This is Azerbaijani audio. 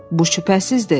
"Bu şübhəsizdir!"